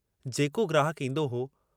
जेको ग्राहक ईन्दो हो।